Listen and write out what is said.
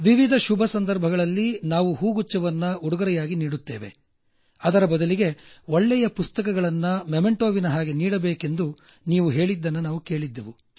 ವಿವಿಧ ಶುಭ ಸಂದರ್ಭಗಳಲ್ಲಿ ನಾವು ಹೂಗುಚ್ಛವನ್ನು ಉಡುಗೊರೆಯಾಗಿ ನೀಡುತ್ತೇವೆ ಅದರ ಬದಲಿಗೆ ಒಳ್ಳೆಯ ಪುಸ್ತಕಗಳನ್ನ ಸ್ಮರಣಿಕೆಯಂತೆ ನೀಡಬೇಕೆಂದು ನೀವು ಹೇಳಿದನ್ನ ನಾವು ಕೇಳಿದ್ದೆವು